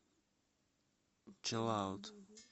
чилаут